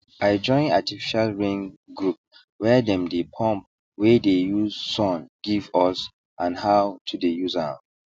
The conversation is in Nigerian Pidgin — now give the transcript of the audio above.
i join artificial rain groupwhere them dey pump wey dey use sun give us and how to dey use am